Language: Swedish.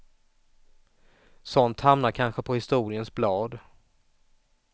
Sådant hamnar kanske på historiens blad.